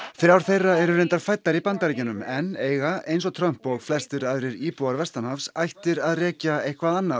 þrjár þeirra eru reyndar fæddar í Bandaríkjunum en eiga eins og Trump og flestir aðrir íbúar þar ættir að rekja eitthvert annað